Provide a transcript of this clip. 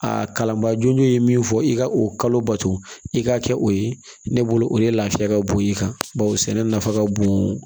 A kalanbaa jo ye min fɔ i ka o kalo bato i ka kɛ o ye ne bolo o de ye lafiya ka bon i kan bawo sɛnɛ nafa ka bon